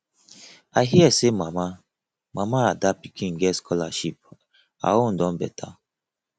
i hear say mama mama ada pikin get scholarship her own beta